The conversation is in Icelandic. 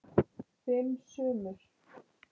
Fimm sumur